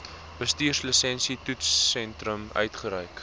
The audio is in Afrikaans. bestuurslisensie toetssentrum uitgereik